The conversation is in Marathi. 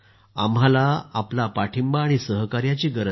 आम्हाला आपला पाठिंबा आणि सहकार्याची गरज आहे